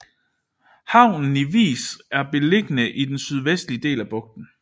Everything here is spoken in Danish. Havnen i Vis er beliggende i den sydvestlige del af bugten